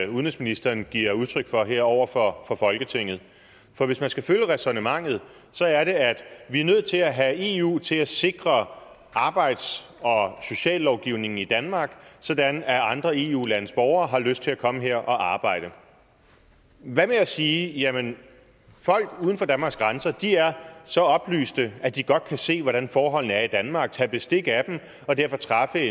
udenrigsministeren giver udtryk for her over for folketinget for hvis man skal følge ræsonnementet så er det at vi er nødt til at have eu til at sikre arbejds og sociallovgivningen i danmark sådan at andre eu landes borgere har lyst til at komme her og arbejde hvad med at sige jamen folk uden for danmarks grænser er så oplyste at de godt kan se hvordan forholdene er danmark tage bestik af dem og derfor træffe